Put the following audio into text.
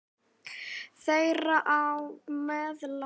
Þeirra á meðal eru